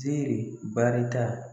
Ziiri barita.